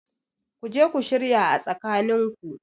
Kuje ku shirya a tsakanin ku